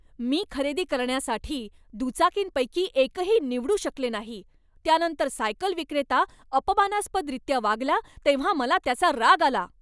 मी खरेदी करण्यासाठी दुचाकींपैकी एकही निवडू शकले नाही, त्यानंतर सायकल विक्रेता अपमानास्पदरीत्या वागला तेव्हा मला त्याचा राग आला.